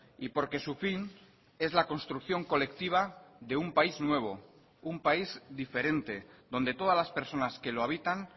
y porque su fin es la construcción colectiva de un país nuevo un país diferente donde todas las personas que lo habitan